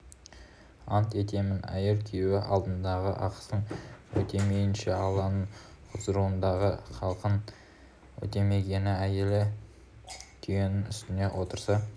ант етемін әйел күйеуі алдындағы ақысын өтемейінше алланың құзырындағы хақын өтемегені әйелі түйенің үстінде отырса